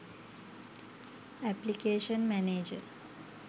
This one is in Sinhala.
application manager